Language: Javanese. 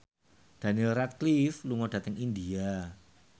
Daniel Radcliffe lunga dhateng India